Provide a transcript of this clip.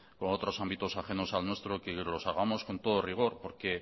con otros ámbitos ajenos al nuestro que los hagamos con todo rigor porque